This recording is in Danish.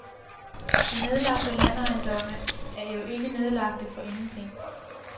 De nedlagte landejendomme er jo ikke nedlagte for ingenting.